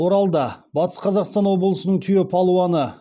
оралда батыс қазақстан облысының түйе палуаны